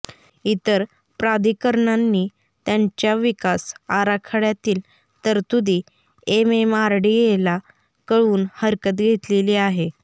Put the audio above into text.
इतर प्राधिकरणांनी त्यांच्या विकास आराखड्यातील तरतुदी एमएमआरडीएला कळवून हरकत घेतलेली आहे